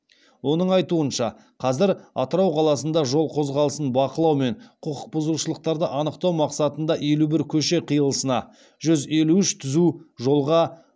оның айтуынша қазір атырау қаласында жол қозғалысын бақылау мен құқық бұзушылықтарды анықтау мақсатында елу бір көше қиылысына жүз елу үш түзу жолға